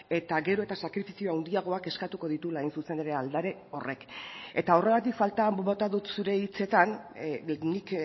eta gero eta sakrifizio handiagoak eskatuko dituela hain zuzen ere aldare horrek eta horregatik faltan bota dut zure hitzetan nik